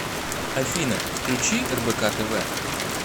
афина включи рбк тв